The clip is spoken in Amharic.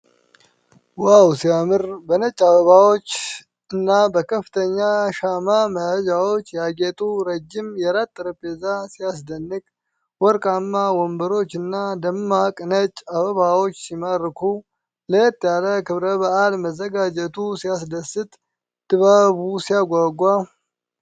ዋው ሲያምር! በነጭ አበባዎችና በከፍተኛ ሻማ መያዣዎች ያጌጠው ረጅም የራት ጠረጴዛ ሲያስደንቅ! ወርቃማ ወንበሮችና ደማቅ ነጭ አበባዎች ሲማርኩ! ለየት ያለ ክብረ በዓል መዘጋጀቱ ሲያስደስት! ድባቡ ሲያጓጓ!